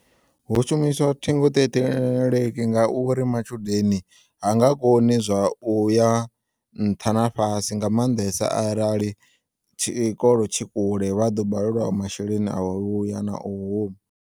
Hu shumiswa ṱhingoṱheṱheleki nga uri matshudeni hanga koni zwa uya nṱha na fhasi nga maanḓesa arali tshikolo tshi kule vhaḓo balelwa masheleni a uya na u huma.